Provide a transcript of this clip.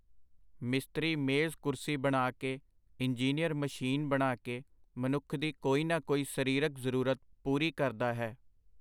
ਮਿਸਤਰੀ ਮੇਜ਼-ਕੁਰਸੀ ਬਣਾ ਕੇ, ਇੰਜੀਨੀਅਰ ਮਸ਼ੀਨ ਬਣਾ ਕੇ ਮਨੁੱਖ ਦੀ ਕੋਈ ਨਾ ਕੋਈ ਸਰੀਰਕ ਜ਼ਰੂਰਤ ਪੂਰੀ ਕਰਦਾ ਹੈ.